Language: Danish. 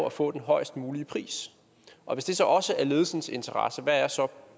at få den højest mulige pris og hvis det så også er ledelsens interesse hvad er så